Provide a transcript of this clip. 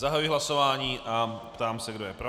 Zahajuji hlasování a ptám se, kdo je pro.